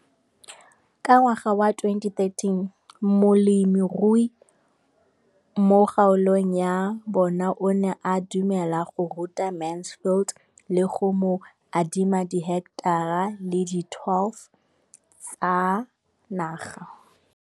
Ka ngwaga wa 2013, molemirui mo kgaolong ya bona o ne a dumela go ruta Mansfield le go mo adima di heketara di le 12 tsa naga.